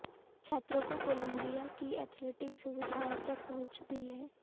छात्रों को कोलंबिया की एथलेटिक सुविधाओं तक पहुंच भी है